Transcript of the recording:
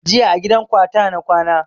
Jiya a gidan ƙawata na kwana